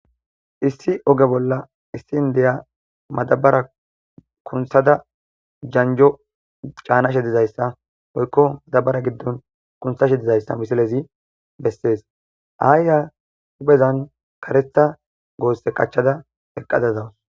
issi oge bolla issin deya madabara kunthada janjo caanashe dizayssa oykko madabara giddon kunthashe dizayssa misilezi bessees aayya hupezan karetha goosse qachchada eqqadazawus